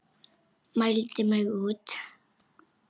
Mældi mig út.